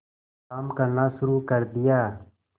काम करना शुरू कर दिया